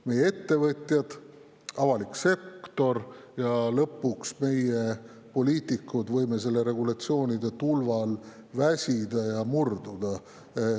Meie ettevõtjad, avalik sektor ja lõpuks meie, poliitikud, võime selle regulatsioonide tulva all väsida ja murduda.